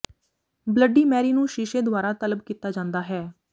bloody Mary ਨੂੰ ਸ਼ੀਸ਼ੇ ਦੁਆਰਾ ਤਲਬ ਕੀਤਾ ਜਾਂਦਾ ਹੈ